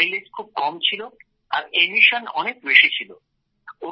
যার মাইলেজ খুব কম ছিল আর কার্বন নিঃসরণ অনেক বেশি ছিল